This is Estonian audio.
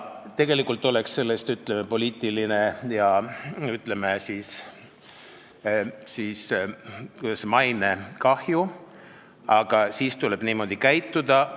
Tegelikult tekiks sellest, ütleme, poliitiline ja mainekahju, aga siis tuleb niimoodi käituda.